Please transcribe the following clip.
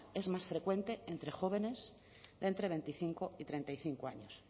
es más frecuente entre jóvenes de entre veinticinco y treinta y cinco años